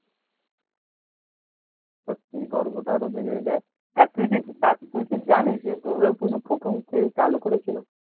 যায় তা তুই কি তুই কি জানি সে দূর্গা পূজো প্রথম কে চালু করেছিল?